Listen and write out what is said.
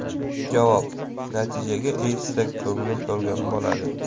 Javob: Natijaga erishsak, ko‘nglim to‘lgan bo‘ladi.